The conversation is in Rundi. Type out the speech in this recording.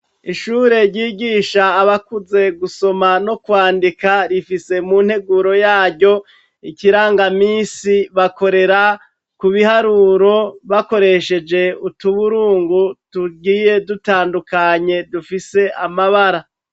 Ishure ryigisha abakuze gusoma no kwandika , rifise munteguro yaryo ikirangamisi bakorera kubiharuro bakoresheje utuburungu tugiye dutandukanye dufise amabara.